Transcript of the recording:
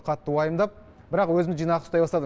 қатты уайымдап бірақ өзімді жинақы ұстай бастадым